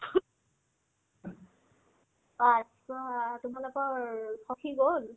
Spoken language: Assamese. কাৰ প আ তোমালোকৰ সখি গ'ল ?